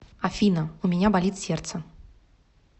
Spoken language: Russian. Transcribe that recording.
афина у меня болит сердце